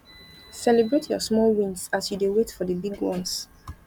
celebrate your small wins as you dey wait for di big ones